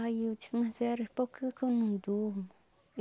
Aí eu disse, mas era porque que eu não durmo?